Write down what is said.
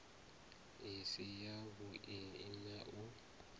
i si yavhui na u